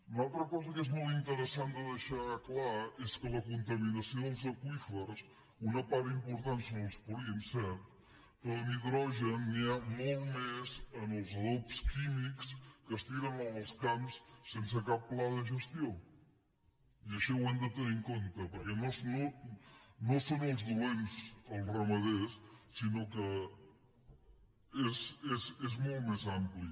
una altra cosa que és molt interessant de deixar clar és que en la contaminació dels aqüífers una part important són els purins cert però de nitrogen n’hi ha molt més en els adobs químics que es tiren en els camps sense cap pla de gestió i això ho hem de tenir en compte perquè no són els dolents els ramaders sinó que és molt més ampli